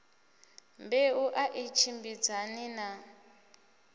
mbeu a i tshimbidzani na